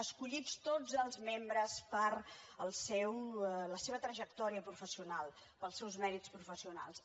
escollits tots els membres per la seva trajectòria professional pels seus mèrits professionals